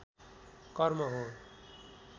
कर्म हो